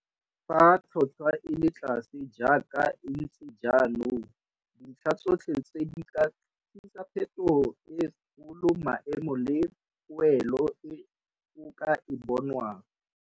Fa tlhotlhwa e le tlase jaaka e ntse jaanong, dintlha tsotlhe tse di ka tlisa phethogo e kgolo maemo le poelo e o ka e bonwang.